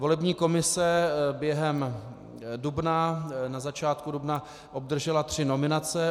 Volební komise během dubna, na začátku dubna, obdržela tři nominace.